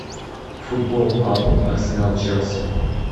футбол апл арсенал челси